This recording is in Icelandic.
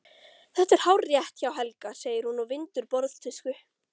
Þetta er hárrétt hjá Helga, segir hún og vindur borðtusku.